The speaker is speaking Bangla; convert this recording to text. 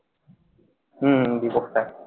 হম হম জীবক sir